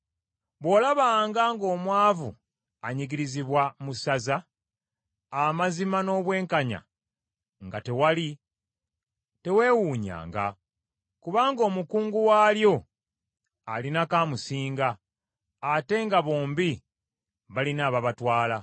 Bw’olabanga ng’omwavu anyigirizibwa mu ssaza, amazima n’obwenkanya nga tewali, teweewuunyanga! Kubanga omukungu waalyo alinako amusinga, ate nga bombi balina ababatwala.